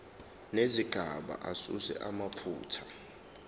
nezigaba asuse amaphutha